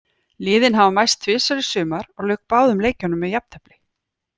Liðin hafa mæst tvisvar í sumar og lauk báðum leikjunum með jafntefli.